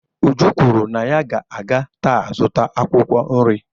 Uju kwuru na ya ga-aga taa zụta akwukwo nri